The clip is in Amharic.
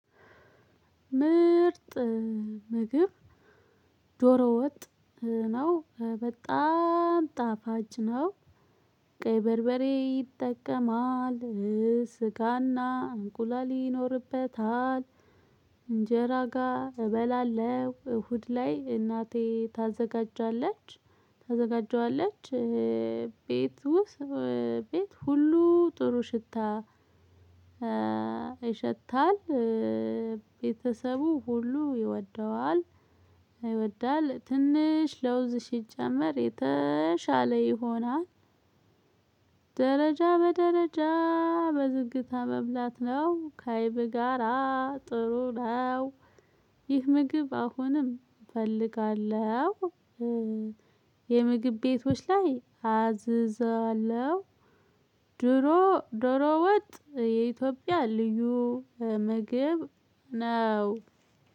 ምርጥ ምግብ ዶሮ ወጥ ነው በጣም ጣፋጭ ነው። ቀይ በርበሬ ይጠቀማል ስጋና እንቁላል ይኖርበታል። እንጀራ ጋር እበላለሁ እሁድ ላይ እናቴ ታዘጋጃለች። ታዘጋጀዋለች። ቤት ውስጥ ቤት ሁሉ ጥሩ ሽታ ይሸታል። ቤተሰቡ ሁሉ ይወደዋል። ይወዳል ትንሽ ለውዝ ሲጀመር የተሻለ ይሆናል። ደረጃ በደረጃ በዝግታ መብላት ነው ከአይብ ጋራ ጥሩ ነው። ይህ ምግብ አሁንም እፈልጋለሁ። የምግብ ቤቶች ላይ አዝዘዋለሁ። ድሮ ዶሮ ወጥ የኢትዮጵያ ልዩ ምግብ ነው።